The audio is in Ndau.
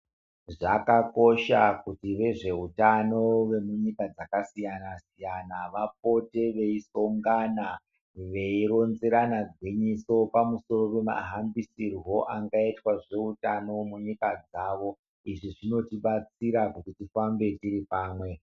Zvakakosha kuti vezvehutano vemunyika yakasiyana siyana vapote veisongana veironzerana negwinyisi pamusoro pemahambisirwo maringe nezvehutano munyika dzawo izvi zvinotibatsira kuti tive tiri pano.